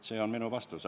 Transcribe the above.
See on minu vastus.